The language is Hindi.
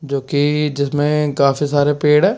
जोकि जिसमें काफी सारे पेड़--